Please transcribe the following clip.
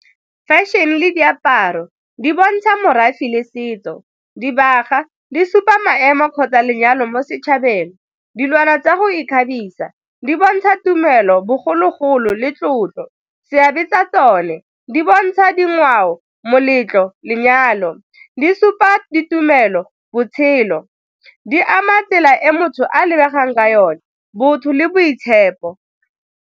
Fashion le diaparo di bontsha morafe le setso, dibaga di supa maemo kgotsa lenyalo mo setšhabeng, dilwana tsa go ikgabisa di bontsha tumelo bogologolo le tlotlo. Seabe tsa tsone, di bontsha dingwao, moletlo, lenyalo. Di supa ditumelo, botshelo, di ama tsela e motho a lebegang ka yone botho le boitshepo.